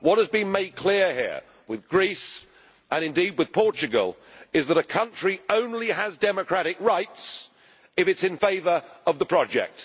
What has been made clear here, with Greece and indeed with Portugal, is that a country only has democratic rights if it is in favour of the project.